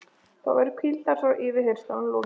Þá væri hvíld hans frá yfirheyrslunum lokið.